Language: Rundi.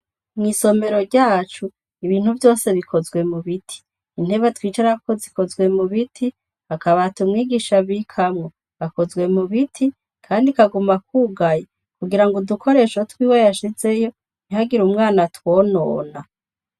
Mw'isomero ryacu ibintu vyose bikozwe mu biti intebe twicarako zikozwe mu biti akabata umwigisha bikamwo akozwe mu biti, kandi kaguma kwugaye kugira ngo udukoresho twiwe yashizeyo ntihagire umwana twonona.